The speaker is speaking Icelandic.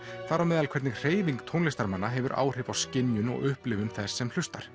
þar á meðal hvernig hreyfing tónlistarmanna hefur áhrif á skynjun og upplifun þess sem hlustar